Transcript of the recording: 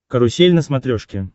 карусель на смотрешке